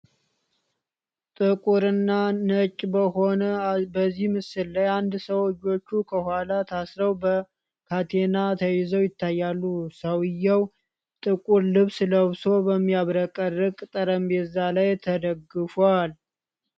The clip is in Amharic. ጥቁር እና ነጭ በሆነ በዚህ ምስል ላይ፣ አንድ ሰው እጆቹ ከኋላ ታስረው በካቴና ተይዘው ይታያሉ። ሰውዬው ጥቁር ልብስ ለብሶ በሚያብረቀርቅ ጠረጴዛ ላይ ተደፍቷል።